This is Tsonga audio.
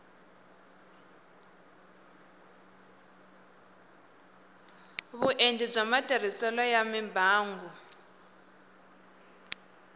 vuenti bya matirhiselo ya mimbangu